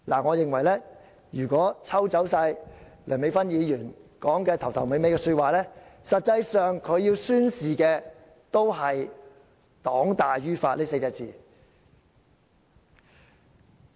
我認為如果抽走梁美芬議員發言的開場白及結語，她實際要宣示的，也是"黨大於法 "4 個字。